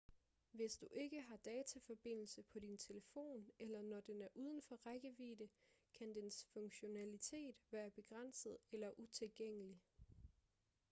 hvis du ikke har dataforbindelse på din telefon eller når den er uden for rækkevidde kan dens funktionalitet være begrænset eller utilgængelig